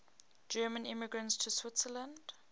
german immigrants to switzerland